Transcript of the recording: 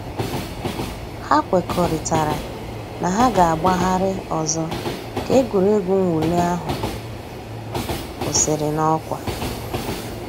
Hà kwèkọ̀rìtàrā nà hà gà-àgbàghàrì òzò̩ kà ègwè́régwụ̀ mwụ̀lì àhụ̀ kwụsìrì n'ọkwà.